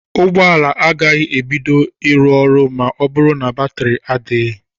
Ụgbọala agaghị ebido ịrụ ọrụ ma ọ bụrụ na batiri adịghị.